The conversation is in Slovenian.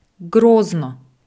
Grozno!